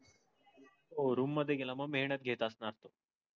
ओह room मधे गेला मग मेहनत घेत असणार त्यो